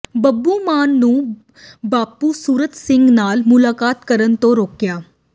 ਬੱਬੂ ਮਾਨ ਨੂੰ ਬਾਪੂ ਸੂਰਤ ਸਿੰਘ ਨਾਲ ਮੁਲਾਕਾਤ ਕਰਨ ਤੋਂ ਰੋਕਿਆ